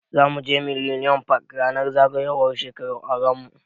Zamu je millennium park ranar zagayowar shekarar auran mu.